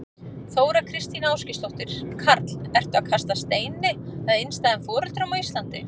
Þóra Kristín Ásgeirsdóttir: Karl, ertu að kasta steini að einstæðum foreldrum á Íslandi?